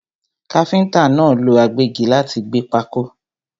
Káfíntà náà lọ agbẹ́gi láti fi gbẹ́ pákó.